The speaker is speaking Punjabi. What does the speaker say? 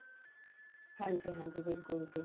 ਹਾਂਜੀ ਹਾਂਜੀ ਬਿਲਕੁਲ ਜੀ